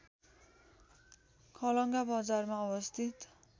खलङ्गा बजारमा अवस्थित